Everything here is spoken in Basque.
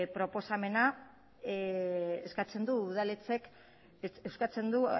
proposamenak eskatzen du udaletxek eskatzen du